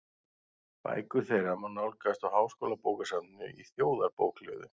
Bækur þeirra má nálgast á Háskólabókasafninu í Þjóðarbókhlöðu.